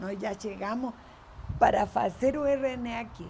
Nós já chegamos para fazer o RN aqui.